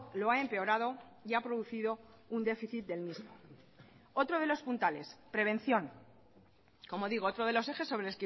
lo ha empeorado y ha producido un déficit del mismo otro de los puntales prevención como digo otro de los ejes sobre